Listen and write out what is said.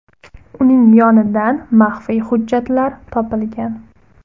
Uning yonidan maxfiy hujjatlar topilgan.